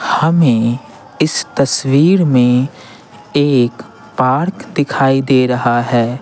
हमें इस तस्वीर में एक पार्क दिखाई दे रहा है।